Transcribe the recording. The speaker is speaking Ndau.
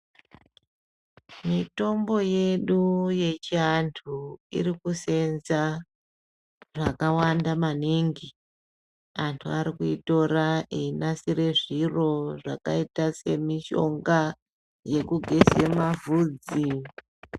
Mitombo yedu yechiantu irikuseenza zvakawanda maningi. Antu arikuitora einasire zviro zvakaita semishonga yekugeze mavhudzi.